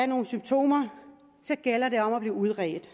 nogle symptomer så gælder det om at blive udredt